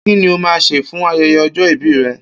Ki ni o máa sè fún aye̩ye̩ o̩jó̩ ìbí re̩?